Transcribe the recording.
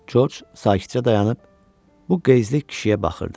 Corc sakitcə dayanıb bu qəzəbli kişiyə baxırdı.